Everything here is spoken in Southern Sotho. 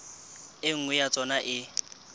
e nngwe ya tsona e